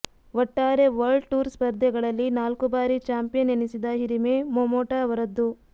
ಒಟ್ಟಾರೆ world tour ಸ್ಪರ್ಧೆಗಳಲ್ಲಿ ನಾಲ್ಕು ಬಾರಿ ಚಾಂಪಿಯನ್ ಎನಿಸಿದ ಹಿರಿಮೆ ಮೊಮೊಟಾ ಅವರದ್ದು